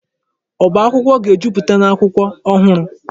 Ọba akwụkwọ ga-ejupụta n'akwụkwọ ọhụrụ.